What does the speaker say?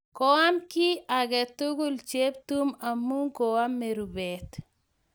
Koam kit age tugul Cheptum amun koamw rupet.